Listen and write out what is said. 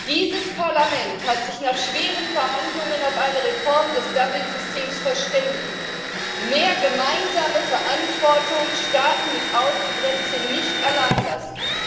Dieses Parlament hat sich nach schweren Verhandlungen auf eine Reform des Dublin Systems verständigt mehr gemeinsame Verantwortung, Staaten mit Außengrenze nicht allein lassen.